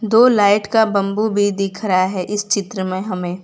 दो लाइट का बंबू भी दिख रहा है इस चित्र में हमें।